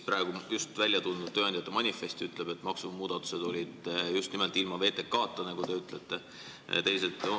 Praegu just välja tulnud tööandjate manifest ütleb, et maksumuudatused tehti meil ära just nimelt ilma VTK-ta, millest te rääkisite.